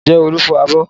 Ǹjẹ́ Olu fọ abọ́?